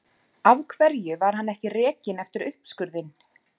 Af hverju var hann ekki rekinn eftir uppskurðinn?